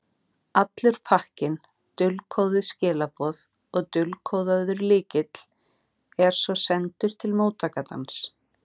Allur pakkinn, dulkóðuð skilaboð og dulkóðaður lykill, er svo sendur til móttakandans.